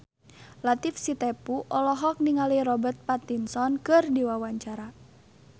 Latief Sitepu olohok ningali Robert Pattinson keur diwawancara